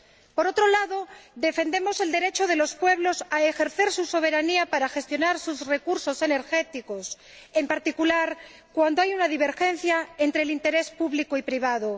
Por otro lado, defendemos el derecho de los pueblos a ejercer su soberanía para gestionar sus recursos energéticos, en particular cuando hay una divergencia entre el interés público y el privado.